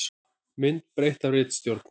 Mynd breytt af ritstjórn.